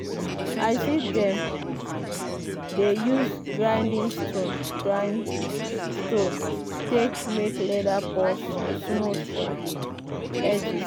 i see dem dey use grinding stone grind stone take make leather purse smooth for the edges.